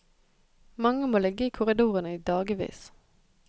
Mange må ligge i korridorene i dagevis.